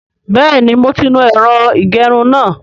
Bẹ́ẹ̀ni mo ti nu ẹ̀rọ ìgẹrun náà